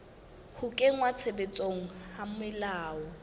ho kenngwa tshebetsong ha melao